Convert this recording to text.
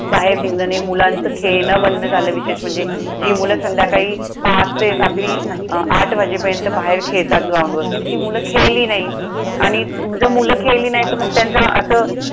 बाहेर निघणं नाही. मुलांचं खेळणं बंद झालं विशेष म्हणजे. जी मुलं संध्याकाळी पाच ते रात्री आठ वाजेपर्यंत बाहेर खेळतात ग्राउंडवर, ती मुलं खेळली नाही. आणि जर मुलं खेळली नाही तर मग त्यांचं असं